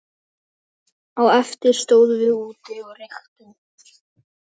Á eftir stóðum við úti og reyktum.